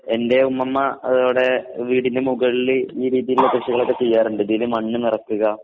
എൻറെ ഉമ്മൂമ്മ അതോടെ വീടിനുമുകളില് ഈ രീതിയിലുള്ള കൃഷികളൊക്കെ ചെയ്യാറുണ്ട്. ഇതില് മണ്ണ് നിറയ്ക്കുക